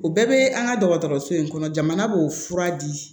U bɛɛ bɛ an ka dɔgɔtɔrɔso in kɔnɔ jamana b'o fura di